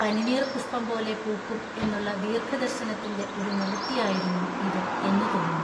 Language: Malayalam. പനിനീർ പുഷ്പം പോലെ പൂക്കും എന്നുള്ള ദീർഘദർശനത്തിൻ്റെ ഒരു നിവൃത്തിയായിരുന്നു ഇതു എന്നു തോന്നും.